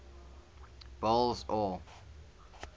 boles aw